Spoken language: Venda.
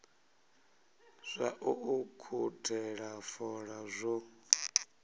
zwa u ukhuthela fola zwo